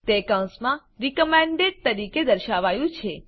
તે કૌંસમાં રિકમેન્ડેડ તરીકે દર્શાવાયું છે